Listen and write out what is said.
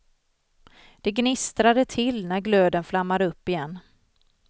Det gnistrade till när glöden flammade upp igen.